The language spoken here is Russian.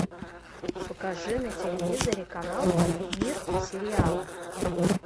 покажи на телевизоре канал мир сериала